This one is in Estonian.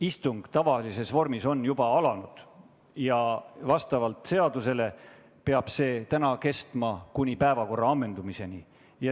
Istung tavalises vormis on juba alanud ja vastavalt seadusele peab see nii kestma kuni päevakorra ammendumiseni.